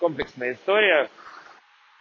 комплексная история